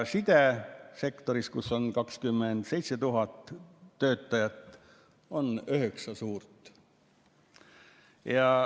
Sidesektoris, kus on 27 000 töötajat, on üheksa suurt.